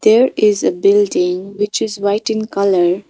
there is a building which is white in colour.